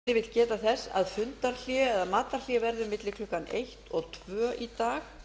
forseti vill geta þess að fundarhlé eða matarhlé verður milli klukkan eitt og tvö í dag